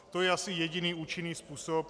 To je asi jediný účinný způsob.